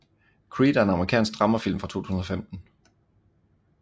Creed er en amerikansk dramafilm fra 2015